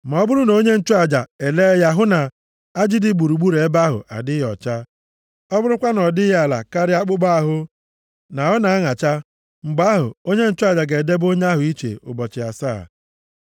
Ma ọ bụrụ na onye nchụaja elee ya hụ na ajị dị gburugburu ebe ahụ adịghị ọcha, ọ bụrụkwa na ọ dịghị ala karịa akpụkpọ ahụ, na ọ na-aṅacha, mgbe ahụ onye nchụaja ga-edebe onye ahụ iche ụbọchị asaa.